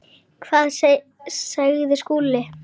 Hvað sagði Lúlli?